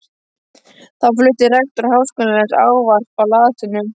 Þá flutti rektor Háskólans ávarp á latínu.